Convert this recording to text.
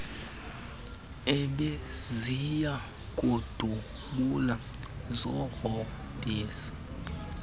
ebeziya kudubula zihombise